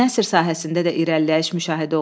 Nəsr sahəsində də irəliləyiş müşahidə olunur.